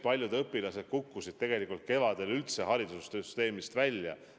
Paljud õpilased kukkusid tegelikult kevadel üldse haridussüsteemist välja.